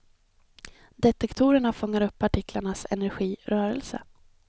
Detektorerna fångar upp partiklarnas energi, rörelse.